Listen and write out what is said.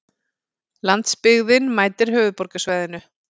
Landsbyggðin mætir höfuðborgarsvæðinu